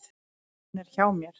Hún er hjá mér.